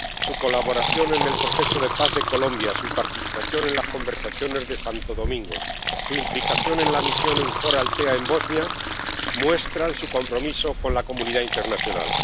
Su colaboración en el proceso de paz de Colombia, su participación en las conversaciones de Santo Domingo y su implicación en la misión EUFOR Althea en Bosnia muestran su compromiso con la comunidad internacional.